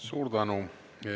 Suur tänu!